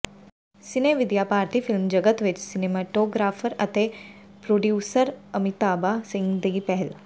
ਸਿਨੇਵਿਦਿਆ ਭਾਰਤੀ ਫਿਲਮ ਜਗਤ ਵਿੱਚ ਸਿਨੇਮੇਟੋਗਰਾਫਰ ਅਤੇ ਪ੍ਰੋਡਿਊਸਰ ਅਮਿਤਾਭਾ ਸਿੰਘ ਦੀ ਪਹਿਲ